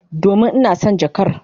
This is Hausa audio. Domin ina son jakar.